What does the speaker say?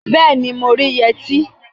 Bẹẹni, mo rí yẹtí